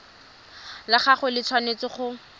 la gagwe le tshwanetse go